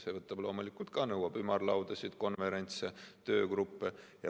See võtab loomulikult ka aega, nõuab ümarlaudasid, konverentse, töögruppe.